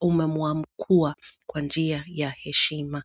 umemuamkua kwa njia ya heshima.